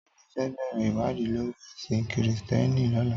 Tade fè bèrè iwàdí lóri èsín Kristièní lòlá